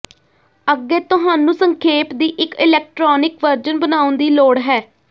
ਅੱਗੇ ਤੁਹਾਨੂੰ ਸੰਖੇਪ ਦੀ ਇਕ ਇਲੈਕਟ੍ਰਾਨਿਕ ਵਰਜਨ ਬਣਾਉਣ ਦੀ ਲੋੜ ਹੈ